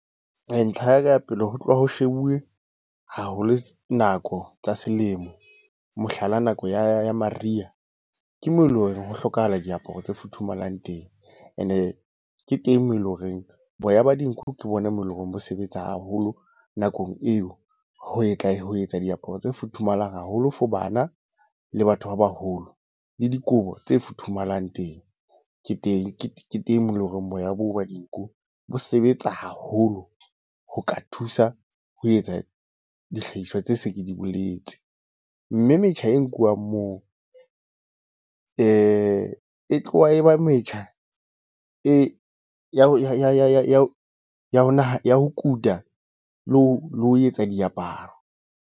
Ntlha ya pele ho tloha ho shebuwe haholo nako tsa selemo. Mohlala nako ya mariha. Ke moo eleng hore ho hlokahala diaparo tse futhumalang teng. E ne ke teng moo eleng horeng boya ba dinku ke bona bo eleng hore bo sebetsa haholo nakong eo. Ho etsa ho etsa diaparo tse futhumala haholo for bana, le batho ba baholo. Le dikobo tse futhumalang teng. Ke teng, ke teng moo eleng horeng boya bo ba dinku bo sebetsa haholo ho ka thusa ho etsa dihlahiswa tse se di boletse. Mme metjha e nkuwang moo e tloha e ba metjha e ya ya ho kuta le ho etsa diaparo.